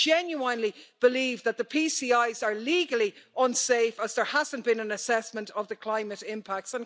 And I genuinely believe that the PCIs are legally unsafe, as there hasn't been an assessment of the climate impacts.